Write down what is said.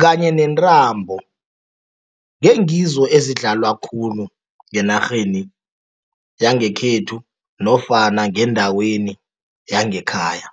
kanye nentambo, ngengizo ezidlalwa khulu ngenarheni yangekhethu nofana ngendaweni yangekhaya.